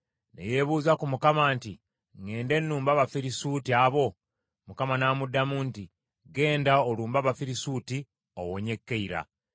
ne yeebuuza ku Mukama nti, “Ŋŋende nnumbe Abafirisuuti abo?” Mukama n’amuddamu nti, “Genda olumbe Abafirisuuti owonye Keyira.”